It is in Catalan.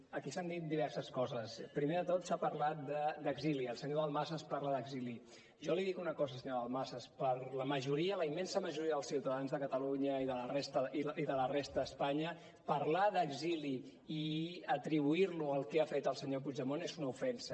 aquí s’han dit diverses coses primer de tot s’ha parlat d’exili el senyor dalmases parla d’exili jo li dic una cosa senyor dalmases per la majoria la immensa majoria dels ciutadans de catalunya i de la resta d’espanya parlar d’exili i atribuir ho al que ha fet el senyor puigdemont és una ofensa